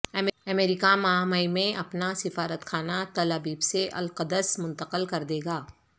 امریکہ ماہ مئی میں اپنا سفارتخانہ تل ابیب سے القدس منتقل کر دے گا